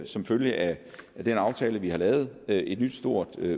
som følge af den aftale vi har lavet et nyt stort